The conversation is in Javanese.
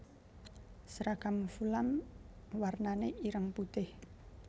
Seragam Fulam warnané ireng putih